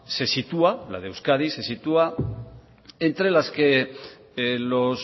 la de euskadi se sitúa entre las que los